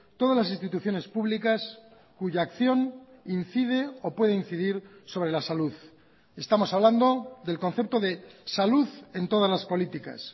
todas las instituciones públicas cuya acción incide o puede incidir sobre la salud estamos hablando del concepto de salud en todas las políticas